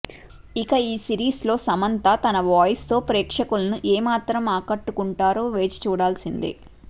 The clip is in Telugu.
ఇక ఈ సిరీస్లో సమంత తన వాయిస్తో ప్రేక్షకులను ఏమాత్రం ఆకట్టుకుంటారో వేచి చూడాల్సిందే